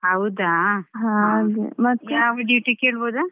ಹಾ ನಾನ್ಸ ನಾನ್ duty ಅಲ್ಲಿ ಇದ್ದೇನೆ ಅಕ್ಕಾ.